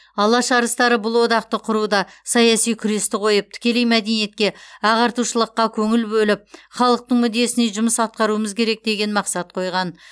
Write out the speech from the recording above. алаш арыстары бұл одақты құруда саяси күресті қойып тікелей мәдениетке ағартушылыққа көңіл бөліп халықтың мүддесіне жұмыс атқаруымыз керек деген мақсат қойған